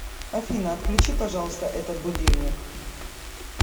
афина отключи пожалуйста этот будильник